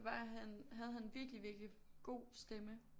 Var han havde han virkelig virkelig god stemme